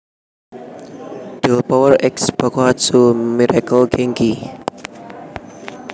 Delpower X Bakuhatsu Miracle Genki